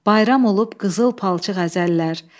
Bayram olub qızıl palçıq əzəllər.